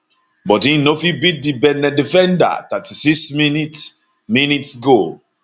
but im no fit beat di benin defender 36 mins mins goal